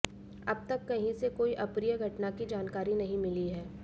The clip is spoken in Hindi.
अब तक कहीं से कोई अप्रिय घटना की जानकारी नहीं मिली है